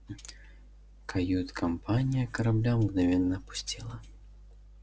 кают-компания корабля мгновенно опустела